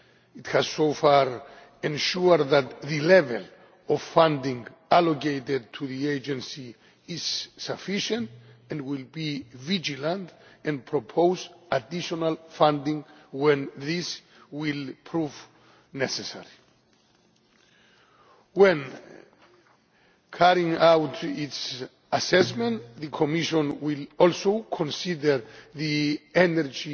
It has so far ensured that the level of funding allocated to the agency is sufficient and will be vigilant and propose additional funding when these prove necessary. When carrying out its assessment, the Commission will also consider the Energy